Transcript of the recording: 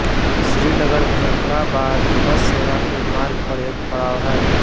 यह श्रीनगरमुज़फ़्फ़राबाद बस सेवा के मार्ग पर एक पड़ाव है